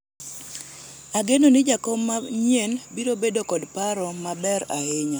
ageno ni jakom manyien biro bedo kod paro maber ahinya